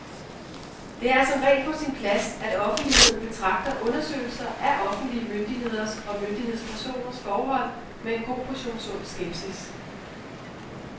Det er som regel på sin plads, at offentligheden betragter undersøgelser af offentlige myndigheders og myndighedspersoners forhold med en god portion sund skepsis.